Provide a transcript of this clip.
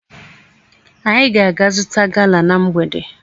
Anyị ga-aga zụta gala na mgbede.